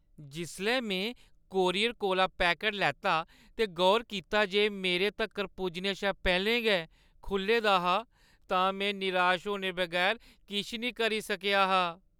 जिसलै में कूरियर कोला पैकट लैता ते गौर कीता जे एह् मेरे तक्कर पुज्जने शा पैह्‌लें गै खुʼल्ले दा हा, तां में निराश होने बगैर किश निं करी सकेआ हा।